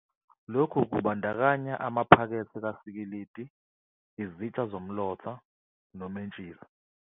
Lokhu kubandakanya amaphakethe kasikilidi, izitsha zomlotha, nomentshisi.